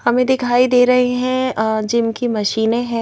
हमें दिखाई दे रही है जिम की मशीन है।